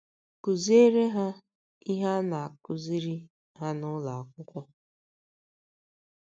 Kụziere um ha ihe a na - um akụziri um ha n’ụlọ akwụkwọ.